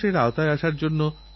গাছের যত্ন আপনারা নিন